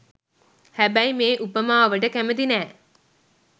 හැබැයි මේ උපමාවට කැමති නෑ.